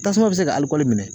Tasuma bi se ka minɛ.